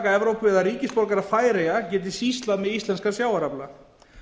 evrópu eða ríkisborgarar færeyja geti sýslað með íslenskan sjávarafla